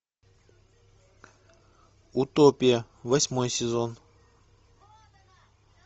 утопия восьмой сезон